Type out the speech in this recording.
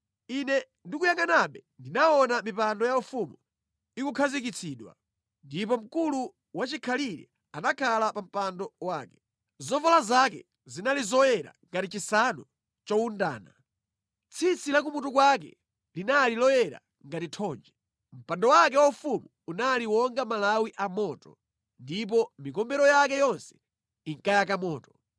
“Ine ndikuyangʼanabe ndinaona “mipando yaufumu ikukhazikitsidwa, ndipo Mkulu Wachikhalire anakhala pa mpando wake. Zovala zake zinali zoyera ngati chisanu chowundana; tsitsi la kumutu kwake linali loyera ngati thonje. Mpando wake waufumu unali wonga malawi a moto, ndipo mikombero yake yonse inkayaka moto.